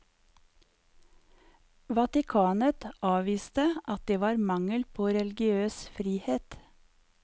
Vatikanet avviste at det var mangel på religiøs frihet.